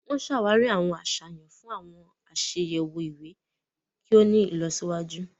Wọn n ṣawari awọn aṣayan fun awọn aṣayẹwo iwe kí o ní ìlọsíwájú.